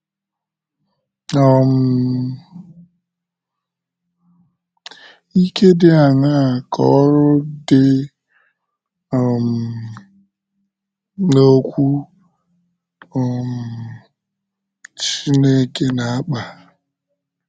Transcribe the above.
um Ike dị aṅaa ka oru dị um n’Okwu um Chineke na - akpa?